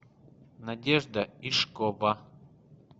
надежда ишкова